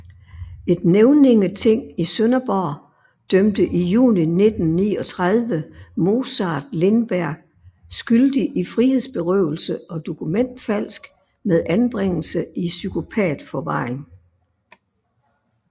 Et nævningeting i Sønderborg dømte i juni 1939 Mozart Lindberg skyldig i frihedsberøvelse og dokumentfalsk med anbringelse i psykopatforvaring